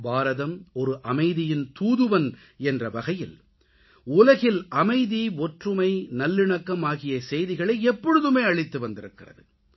பாரதம் ஒரு அமைதியின் தூதுவன் என்ற வகையில் உலகில் அமைதி ஒற்றுமை நல்லிணக்கம் ஆகிய செய்திகளை எப்பொழுதுமே அளித்துவந்திருக்கிறது